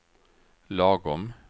lagom